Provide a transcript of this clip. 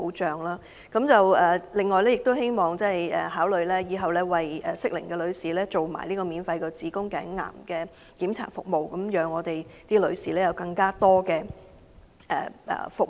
此外，希望政府亦會考慮在日後為適齡女士進行免費子宮頸癌檢查服務，藉以為女士提供進一步服務。